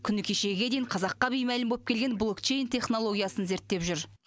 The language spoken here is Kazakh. күні кешегіге дейін қазаққа беймәлім боп келген блокчейн технологиясын зерттеп жүр